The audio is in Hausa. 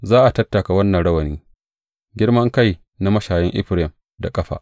Za a tattaka wannan rawani, girman kai na mashayan Efraim da ƙafa.